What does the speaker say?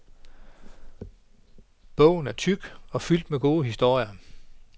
Bogen er tyk og fyldt med gode historier.